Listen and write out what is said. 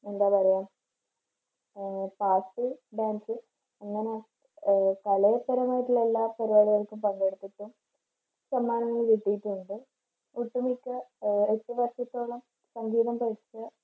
എന്താ പറയുക ആഹ് പാട്ട് dance ആഹ് പങ്കെടുത്തിട്ടും സമ്മാനങ്ങൾ കിട്ടിയിട്ടുണ്ട് ഒട്ടുമിക്ക അഹ് എട്ട് വർഷത്തോളം സംഗീതം പഠിച്ചു